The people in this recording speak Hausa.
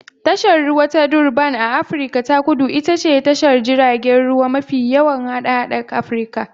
Tashar ruwa ta Durban a Afirka ta Kudu ita ce tashar jiragen ruwa mafi yawan hada-hada Afirka